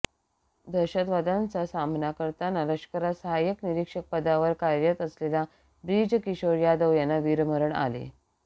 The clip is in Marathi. दहशतवाद्यांचा सामना करताना लष्करात सहाय्यक निरीक्षक पदावर कार्यरत असलेल्या ब्रिज किशोर यादव यांना वीरमरण आले